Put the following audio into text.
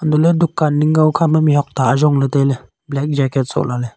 untohley dukan ning ka okhama mihak ta ayongley tailey black jacket soh lahley.